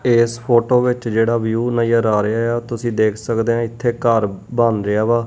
ਇਸ ਫੋਟੋ ਵਿੱਚ ਜਿਹੜਾ ਵਿਊ ਨਜਰ ਆ ਰਿਹਾ ਆ ਤੁਸੀਂ ਦੇਖ ਸਕਦੇ ਹੋ ਇੱਥੇ ਘਰ ਬਣ ਰਿਹਾ ਵਾ ।